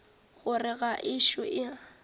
gore ga a ešo a